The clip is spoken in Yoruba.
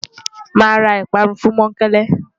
Màá ra ìparun fún Mọ́ńkele.